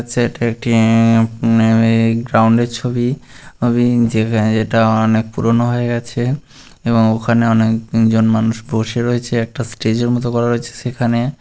set একটি ground -এর ছবি ছবি যেখানে যেটা অনেক পুরনো হয়ে গেছে-এ এবং ওখানে অনেক জন মানুষ বসে রয়েছে্এ‌কটা স্টেজ -এর মতন করা রয়েছে সেখানে --